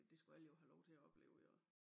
Det skulle alle jo have lov til at opleve jo